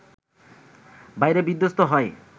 বাইরে বিধ্বস্ত হয়